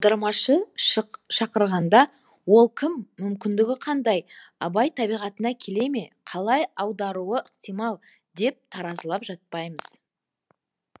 аудармашы шақырғанда ол кім мүмкіндігі қандай абай табиғатына келе ме қалай аударуы ықтимал деп таразылап жатпаймыз